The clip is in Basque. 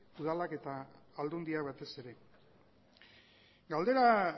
udalak eta aldundiak batez ere galdera